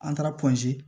An taara